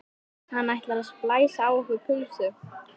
Hann ætlar að splæsa á okkur pulsu!